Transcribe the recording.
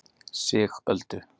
Sigöldu